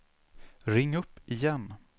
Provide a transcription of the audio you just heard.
ring upp igen